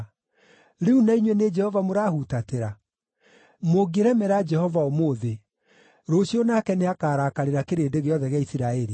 Rĩu na inyuĩ nĩ Jehova mũrahutatĩra? “ ‘Mũngĩremera Jehova ũmũthĩ, rũciũ nake nĩakarakarĩra kĩrĩndĩ gĩothe gĩa Isiraeli.